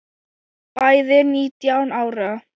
Bæði nítján ára.